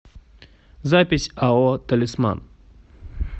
запись ао талисман